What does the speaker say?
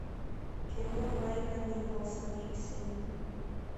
кино майка николса пиксели